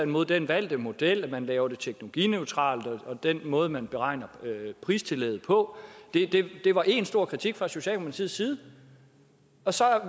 mod den valgte model med at man laver det teknologineutralt og med den måde man beregner pristillægget på det var en stor kritik fra socialdemokratiets side og så